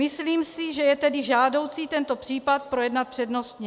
Myslím si, že je tedy žádoucí tento případ projednat přednostně.